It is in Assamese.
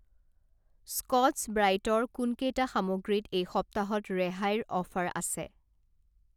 স্কট্ছ ব্ৰাইটৰ কোনকেইটা সামগ্ৰীত এই সপ্তাহত ৰেহাইৰ অফাৰ আছে?